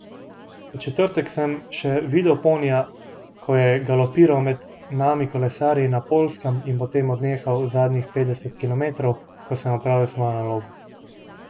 V četrtek sem še videl ponija, ko je galopiral med nami kolesarji na Poljskem, in potem odnehal zadnjih petdeset kilometrov, ko sem opravil svojo nalogo.